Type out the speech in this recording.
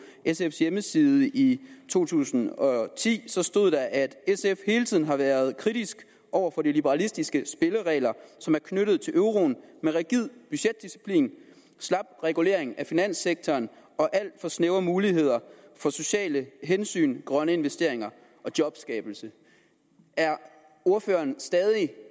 sfs hjemmeside i to tusind og ti stod at sf hele tiden har været kritisk over for de liberalistiske spilleregler som er knyttet til euroen med rigid budgetdisciplin slap regulering af finanssektoren og alt for snævre muligheder for sociale hensyn grønne investeringer og jobskabelse er ordføreren stadig